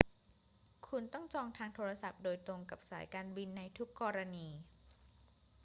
คุณต้องจองทางโทรศัพท์โดยตรงกับสายการบินในทุกกรณี